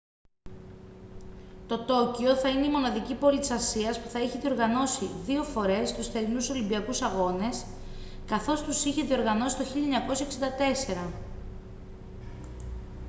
το τόκιο θα είναι η μοναδική πόλη της ασίας που θα έχει διοργανώσει δύο φορές τους θερινούς ολυμπιακούς αγώνες καθώς τους είχε διοργανώσει το 1964